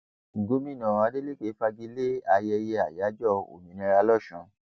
gomina adeleke fagi lé ayẹyẹ àyájọ òmìnira lòsùn